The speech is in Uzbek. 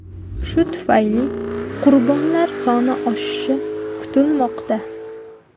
Shu tufayli qurbonlar soni oshishi kutilmoqda.